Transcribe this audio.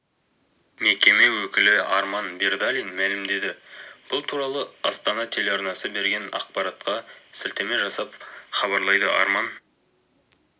мекеме өкілі арман бердалин мәлімдеді бұл туралы астана телеарнасы берген ақпарартқа сілтеме жасап хабарлайды арман